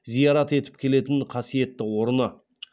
зиярат етіп келетін қасиетті орны